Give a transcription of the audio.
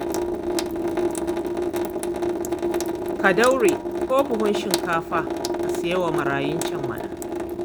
Ka daure ko buhun shinkafa ka saya wa marayun can mana